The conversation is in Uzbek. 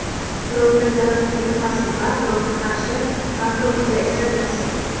birovga zarar keltirmasin va birovga qarshi makru hiyla ishlatmasin.